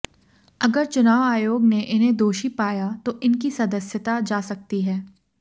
अगर चुनाव आयोग ने इन्हें दोषी पाया तो इनकी सदस्यता जा सकती है